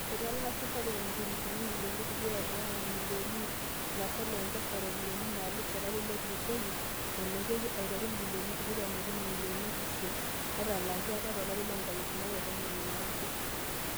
Etalaa Safaricom injilingini ibilioni tikitam onguan omilioni iip are ilaasak le M-Pesa iropyiani naalus tolari lotulusoyia, ilepiaki aiteru ibilioni tikitam okuni omilioni iip isiet natalaaki apa tolari loonkalifuni are o tomon ooudo.